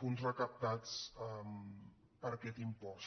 fons recaptats per aquest impost